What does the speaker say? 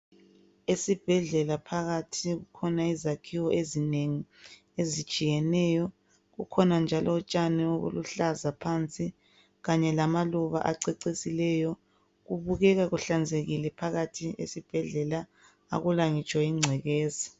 Esibhedlela phakathi kukhona izakhiwo ezinengi ezitshiyeneyo kukhona njalo utshani obuluhlaza phansi kanye lamaluba acecisileyo kubukeka kuhlanzekile phakathi esibhedlela akula ngitsho ingcekeza.